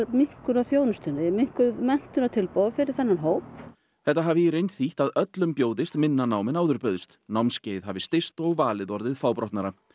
minnkun á þjónustunni minnkuð menntunartilboð fyrir þennan hóp þetta hafi í reynd þýtt að öllum bjóðist minna nám en áður bauðst námskeið hafi styst og valið orðið fábrotnara